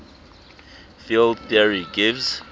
field theory gives